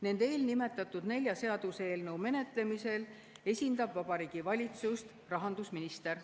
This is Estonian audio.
Nende eelnimetatud nelja seaduseelnõu menetlemisel esindab Vabariigi Valitsust rahandusminister.